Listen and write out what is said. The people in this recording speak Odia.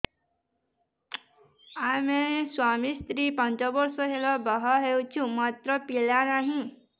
ଆମେ ସ୍ୱାମୀ ସ୍ତ୍ରୀ ପାଞ୍ଚ ବର୍ଷ ହେଲା ବାହା ହେଇଛୁ ମାତ୍ର ପିଲା ନାହିଁ